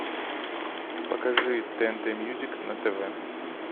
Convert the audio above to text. покажи тнт мьюзик на тв